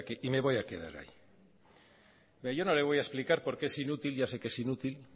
y me voy a quedar ahí yo no le voy a explicar por qué es inútil ya sé que es inútil